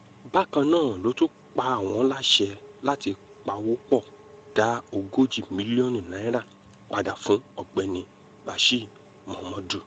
bákan náà ló tún pa wọ́n láṣẹ láti pawọ́-pọ̀ dá ogójì mílíọ̀nù naira padà fún ọ̀gbẹ́ni bashir muhammad